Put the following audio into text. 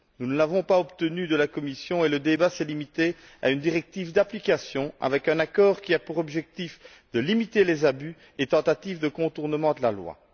Nous ne l'avons pas obtenue de la Commission et le débat s'est limité à une directive d'application, avec un accord qui a pour objectif de limiter les abus et tentatives de contournement de la loi.